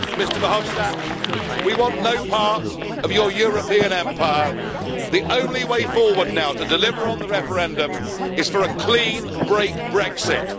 Mr Verhofstadt, we want no part of your European empire. The only way forward now, to deliver on the referendum, is for a clean break Brexit.